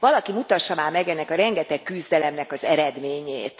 Valaki mutassa már meg ennek a rengeteg küzdelemnek az eredményét.